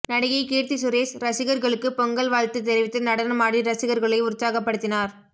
நடிகை கீர்த்தி சுரேஷ் ரசிகர்களுக்கு பொங்கல் வாழ்த்து தெரிவித்து நடனமாடி ரசிகர்களை உற்சாகப்படுத்தினார்